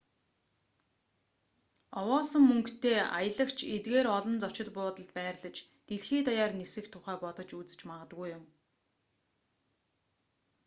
овоолсон мөнгөтэй аялагч эдгээр олон зочид буудалд байрлаж дэлхий даяар нисэх тухай бодож үзэж магадгүй юм